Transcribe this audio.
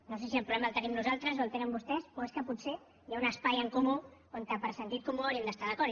no sé si el problema el tenim nosaltres o el tenen vostès o és que potser hi ha un espai en comú on per sentit comú hauríem d’estar d’acord